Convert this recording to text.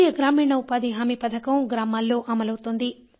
జాతీయ గ్రామీణ ఉపాథి హామీ పథకం గ్రామాల్లో అమలవుతోంది